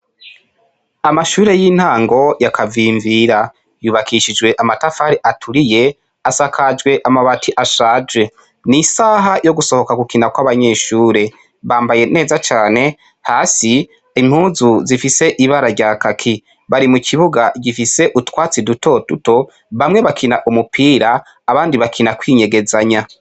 Amashure yintango ya kavimvira yubakishijwe amatafari aturiye asakajwe amabati ashaje, isaha yo gusohoka gukina kwabanyeshure ,bambaye neza cane ,hasi impuzu zifise ibara rya kaki bari mukibuga gifise utwatsi dutoduto bamwe bakina umupira abandi bakina kwizegezanya.